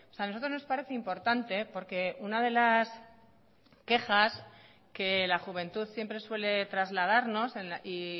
a nosotros nos parece importante porque una de las quejas que la juventud siempre suele trasladarnos y